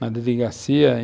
na delegacia.